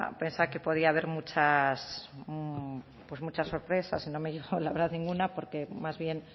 que podía haber muchas pues muchas sorpresas y no me dijo la verdad ninguna porque más bien